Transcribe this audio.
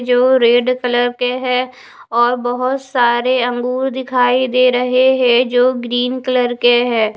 यो red colour के है और बहोत सारे अंगूर दिखाई दे रहे है जो ग्रीन कलर के है ।